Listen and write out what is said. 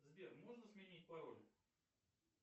сбер можно сменить пароль